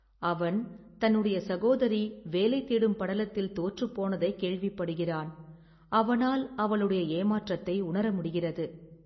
அவன் தன்னுடைய சகோதரி வேலை தேடும் படலத்தில் தோற்றுப் போனதை கேள்விப் படுகிறான். அவனால் அவளுடைய ஏமாற்றத்தை உணர முடிகிறது.